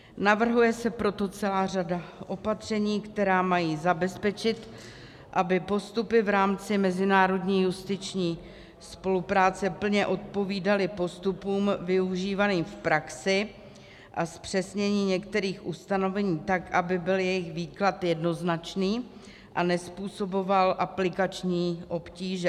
Navrhuje se proto celá řada opatření, která mají zabezpečit, aby postupy v rámci mezinárodní justiční spolupráce plně odpovídaly postupům využívaným v praxi, a zpřesnění některých ustanovení tak, aby byl jejich výklad jednoznačný a nezpůsoboval aplikační obtíže.